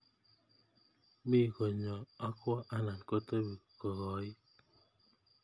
Mich konyoo akwoo anan kotebii kokoit.